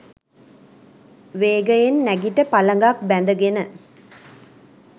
වේගයෙන් නැගිට පළඟක් බැඳ ගෙන